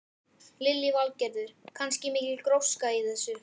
Lillý Valgerður: Kannski mikil gróska líka í þessu?